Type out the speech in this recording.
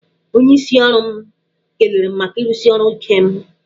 Onyeisi ọrụ m kelere m maka irusi ọrụ ike m.